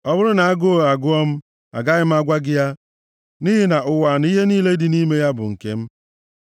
Ọ bụrụ na agụụ agụọ m, agaghị m agwa gị ya, nʼihi na ụwa na ihe niile dị nʼime ya bụ nke m.